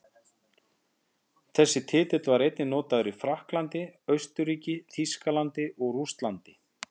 Þessi titill var einnig notaður í Frakklandi, Austurríki, Þýskalandi og Rússlandi.